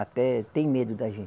Até tem medo da gente.